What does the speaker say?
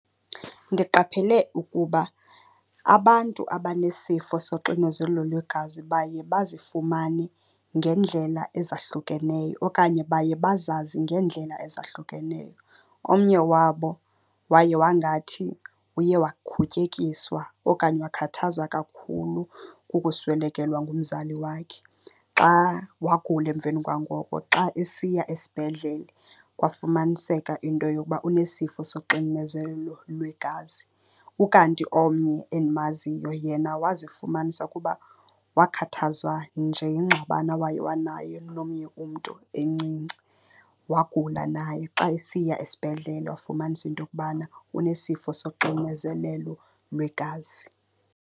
Ndiqaphele ukuba abantu abanesifo soxinezelelo lwegazi baye bazifumane ngendlela ezahlukeneyo okanye baye bazazi ngeendlela ezahlukeneyo. Omnye wabo waye wangathi uye wakhutyekiswa okanye wakhathazwa kakhulu kukuswelekelwa ngumzali wakhe. Xa wagula emveni kwa ngoko, xa esiya esibhedlele kwafumaniseka into yokuba unesifo soxinezelelo lwegazi. Ukanti omnye endimaziyo yena wazifumanisa kuba wakhathazwa nje yingxabano awaye wanayo nomnye umntu encinci, wagula naye. Xa esiya esibhedlele wafumanisa into yokubana unesifo soxinezelelo lwegazi.